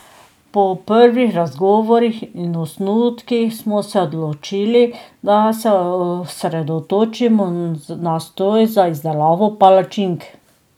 Po prvih razgovorih in osnutkih smo se odločili, da se osredotočimo na stroj za izdelavo palačink.